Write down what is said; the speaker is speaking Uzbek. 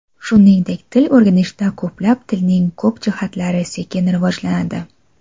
Shuningdek, til o‘rganishda ko‘plab tilning ko‘p jihatlari sekin rivojlanadi.